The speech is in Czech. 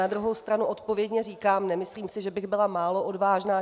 Na druhou stranu odpovědně říkám, nemyslím si, že bych byla málo odvážná.